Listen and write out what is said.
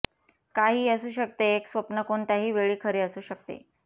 काहीही असू शकते एक स्वप्न कोणत्याही वेळी खरे असू शकते